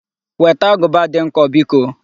Weta agụba dị nkọ biko!